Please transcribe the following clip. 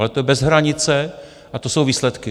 Ale je to bez hranice, a to jsou výsledky.